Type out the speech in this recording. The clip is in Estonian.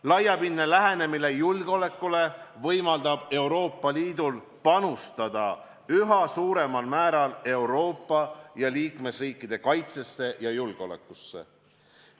Laiapindne lähenemine julgeolekule võimaldab Euroopa Liidul panustada üha suuremal määral Euroopa ja liikmesriikide kaitsesse ja julgeolekusse.